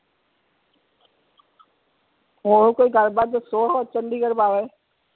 ਹੋਰ ਕੋਈ ਗੱਲ ਬਾਤ ਦੱਸੋ ਚੰਡੀਗੜ ਬਾਰੇ